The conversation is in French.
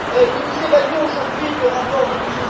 Nous évaluons aujourd'hui le rapport de M.